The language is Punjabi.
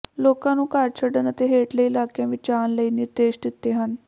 ਲੋਕਾਂ ਨੂੰ ਘਰ ਛੱਡਣ ਅਤੇ ਹੇਠਲੇ ਇਲਾਕੀਆਂ ਵਿੱਚ ਜਾਣ ਲਈ ਨਿਰਦੇਸ਼ ਦਿੱਤੇ ਹਨ